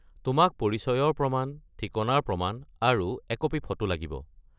তোমাক পৰিচয়ৰ প্ৰমাণ, ঠিকনাৰ প্ৰমাণ, আৰু একপি ফটো লাগিব।